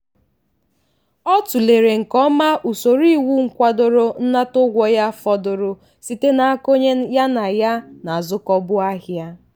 ọ tụlere nke ọma usoro iwu kwadoro nnata ụgwọ ya fọdụrụ site n'aka onye ya na ya na-azụkọbu ahịa.